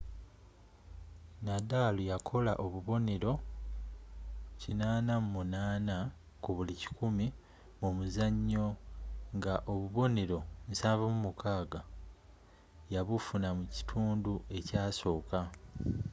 nadal yakola obuboneero 88% mu muzanyo nga obubonnero 76 yabufuna mu kitundu ekyasooka